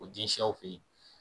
O den siyaw fe ye